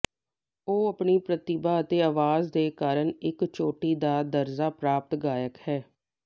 ਉਹ ਆਪਣੀ ਪ੍ਰਤਿਭਾ ਅਤੇ ਅਵਾਜ਼ ਦੇ ਕਾਰਨ ਇੱਕ ਚੋਟੀ ਦਾ ਦਰਜਾ ਪ੍ਰਾਪਤ ਗਾਇਕ ਹੈ